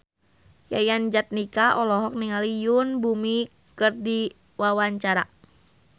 Yayan Jatnika olohok ningali Yoon Bomi keur diwawancara